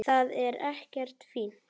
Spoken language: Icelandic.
Það er ekkert fínt.